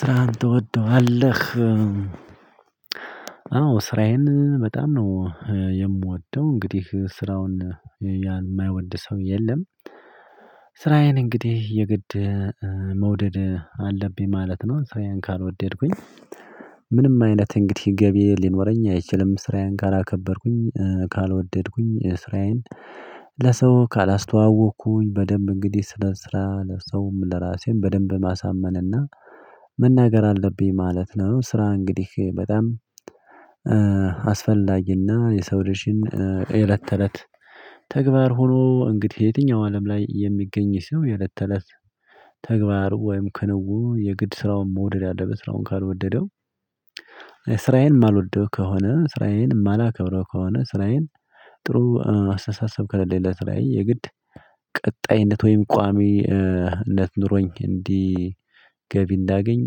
ስራህን ትወደዋለህ? አዎ ስራዬን በጣም ነው የምወደው። እንግዲህ ስራውን የማይወድ ሰው የለም። ስራዬን እንግዲህ የግድ መውደድ አለብኝ ማለት ነው። ስራየን ካልወደድኩኝ ምንም አይነት እንግዲህ ገቢ ሊኖረኝ አይችልም። ስራዬን ካላከበርኩኝ ካልወደድኩኝ ስራዬን ለሰው ካላስተዋወቅኩኝ በደንብ እንግዲህ ስለ ስራ ለሰውም ለራሴም በደንብ ማሳመን እና አለብኝ ማለት ነው። ስራ እንግዲህ በጣም አስፈላጊና የሰው ልጅን የእለት ተለት ተግባር ሆኖ እንግዲህ የትኛው አለም ላይ የሚገኝ ሰው የእለት ተለት ተግባሩ ወይም ክንውን የግድ ስራውን መውደድ አለበት። ስራውን ካልወደደው ስራዬን ማልወደው ከሆነ ስራዬን ማላከብረው ከሆነ ስራዬን ጥሩ አስተሳሰብ ከሌለኝ ለስራየ የግድ ቀጣይነት ወይም ቋሚነት ኑሮኝ እንዲህ ገቢ እንዳገኝ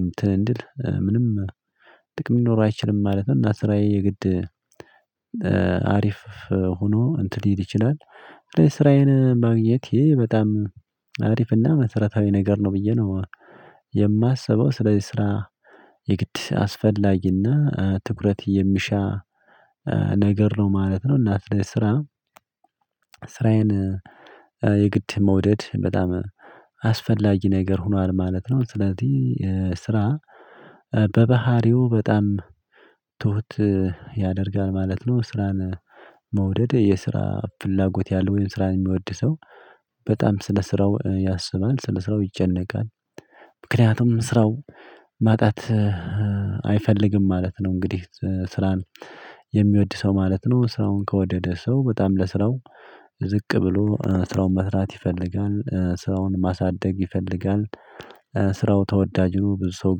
እንትን እንድል ምንም ጥቅም ሊኖር አይችልም ማለት ነው። እና ስራዬ የግድ አሪፍ ሆኖ እንትን ሊሄድ ይችላል። ስራዬን ማግኝቴ በጣም አሪፍና መሰረታዊ ነገር ነው ብዬ ነው የማስበው። ስለዚህ ስራ የግድ አስፈላጊና ትኩረት የሚሻ ነገር ነው ማለት ነው። እና ስራ ስራዬን የግድ መውደድ በጣም አስፈላጊ ነገር ሆኗል ማለት ነው። ስለዚህ ስራ በባህሪው በጣም ትሁት ያደርጋል ማለት ነው። ስራን መውደድ የስራ ፍላጎት ያለው ወይም ስራን የሚወድ ሰው በጣም ስለ ስራው ያስባል። ስለ ስራው ይጨነቃል ምክንያቱም ስራው ማጣት አይፈልግም ማለት ነው። እንግዲህ ስራን የሚወድ ሰው ማለት ነው ስራውን ከወደደ ሰው በጣም ለስራው ዝቅ ብሎ ስራውን መስራት ይፈልጋል። ስራውን ማሳደግ ይፈልጋል። ስራው ተወዳጅ ሁኖ ብዙ ሰው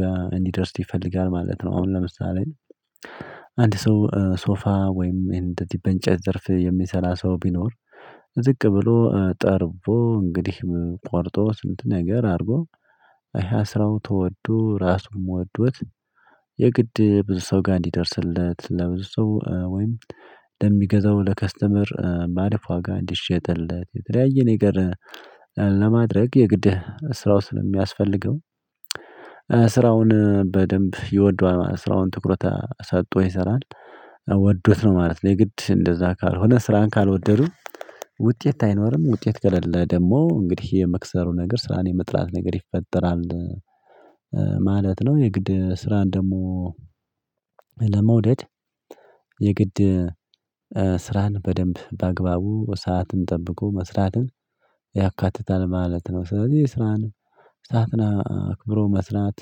ጋር እንዲደርስ ይፈልጋል ማለት ነው። አሁን ለምሳሌ አንድ ሰው ሶፋ ወይም ይሄን እንደዚህ በንጨት ዘርፍ የሚሰራ ሰው ቢኖር ዝቅ ብሎ ጠርቦ እንግዲህ ቆርጦ ስንት ነገር አድርጎ ያ ስራው ተወዶ ራሱም ወዶት የግድ ብዙ ሰው ጋር እንዲደርስለት ለብዙ ሰው ወይም ለሚገዛው ለከስተመር ባሪፍ ዋጋ እንዲሸጥለት፤ የተለያየ ነገር ለማድረግ የግድ ስራው ስለሚያስፈልገው ስራውን በደንብ ይወደዋል ማለት ነው። ስራውን ትኩረት ሰጥቶ ይሰራል። ወዶት ነው ማለት ነው። የግድ እንደዛ ካልሆነ ስራን ካልወደዱ ውጤት አይኖርም ውጤት ከሌለ ደግሞ እንግዲህ የመክሰሩ ነገር ስራን የመጥላት ነገር ይፈጠራል። ማለት ነው የግድ ስራን ደግሞ ለመውደድ የግድ ስራን በደንብ በአግባቡ ሰዓትን ጠብቆ መስራትን ያካትታል ማለት ነው። ስለዚህ የስራን ሰዓትን አክብሮ መስራት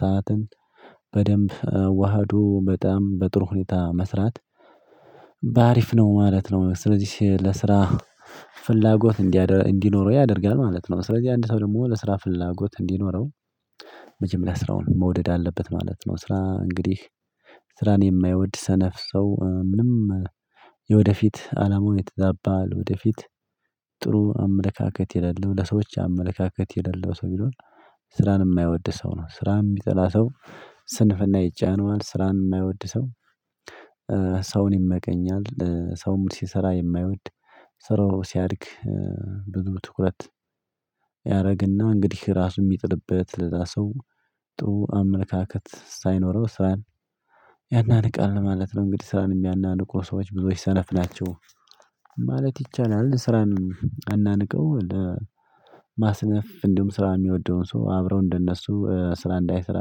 ሰዓትን በደንብ አዋህዶ በጣም በጥሩ ሁኔታ መስራት በአሪፍ ነው ማለት ነው። ስለዚህ ለስራ ፍላጎት እንዲኖረው ያደርጋል ማለት ነው። ስለዚህ አንድ ሰው ደግሞ ለስራ ፍላጎት እንዲኖረው መጀመሪያ ስራውን መውደድ አለበት ማለት ነው። ስራ እንግዲህ ስራን የማይወድ ሰነፍ ሰው ምንም የወደፊት አላማው የተዛባ ለወደፊት ጥሩ አመለካከት የሌለው ለሰዎች አመለካከት የሌለው ሰው ቢሆን ስራን የማይወድ ሰው ነው። ስራ የሚጠላ ሰው ስንፍና ይጫነዋል። ስራን የማይወድ ሰው ሰውን ይመቀኛል። ሰውም ሲሰራ የማይወድ ስራው ሲያድግ ብዙ ትኩረት ያደርግና እንግዲህ ራሱ የሚጥልበት ለሰው ጥሩ አመለካከት ሳይኖረው ስራን ያናንቃል ማለት ነው። እንግዲህ ስራን የሚያናንቁ ሰዎች ብዙዎች ሰነፍ ናቸው። ማለት ይቻላል። ስራን አናንቀው ለማስነፍ እንዲሁም ስራ የሚወደውን ሰው አብረው እንደነሱ ስራ እንዳይሰራ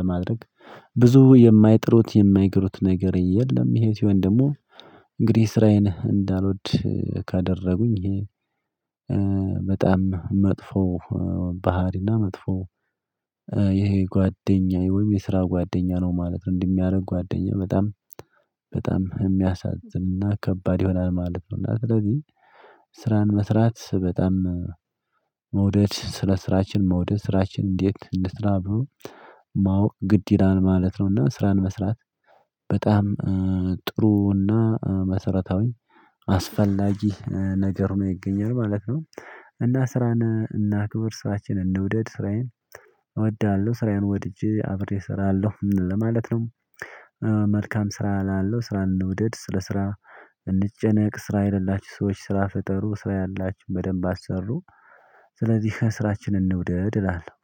ለማድረግ ብዙ የማይጥሩት የማይግሩት ነገር የለም። ይሄ ሲሆን ደግሞ እንግዲህ ስራዬን እንዳልወድ ካደረጉኝ በጣም መጥፎ ባህሪና መጥፎ ይሄ ጓደኛዬ ወይም የስራ ጓደኛ ነው ማለት ነው። እንደሚያደርግ ጓደኛ በጣም በጣም የሚያሳዝንና ከባድ ይሆናል ማለት ነው። እና ስለዚህ ስራን መስራት በጣም መውደድ ስለ ስራችን መውደድ ስራችን እንዴት እንስራ ብሎ ማወቅ ግድ ይላል ማለት ነው። እና ስራን መስራት በጣም ጥሩ እና መሰረታዊ አስፈላጊ ነገር ሁኖ ይገኛል ማለት ነው። እና ስራን እናክብር። ስራችንን እንውደድ። ስራዬን እወዳለሁ ስራዬን ወድጄ አክብሬ እሰራለሁ ማለት ነው። መልካም ስራ እላለሁ። ስራ እንውደድ። ስለ ስራ እንጨነቅ። ስራ የሌላችሁ ሰዎች ስራ ፈጠሩ። ስራ ያላችሁ በደንብ አሰሩ ስለዚህ ስራችንን እንውደድ እላለሁ።